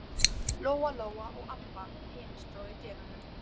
Lóa Lóa og Abba hin stóðu í dyrunum.